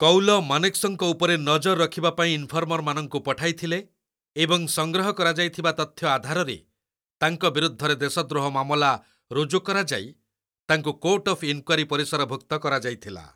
କୌଲ ମାନେକ୍‌ଶଙ୍କ ଉପରେ ନଜର ରଖିବା ପାଇଁ ଇନଫର୍ମର୍‌ମାନଙ୍କୁ ପଠାଇଥିଲେ, ଏବଂ ସଂଗ୍ରହ କରାଯାଇଥିବା ତଥ୍ୟ ଆଧାରରେ, ତାଙ୍କ ବିରୁଦ୍ଧରେ ଦେଶଦ୍ରୋହ ମାମଲା ରୁଜୁ କରାଯାଇ ତାଙ୍କୁ କୋର୍ଟ ଅଫ୍ ଇନ୍‌କ୍ୱାରୀ ପରିସରଭୁକ୍ତ କରାଯାଇଥିଲା।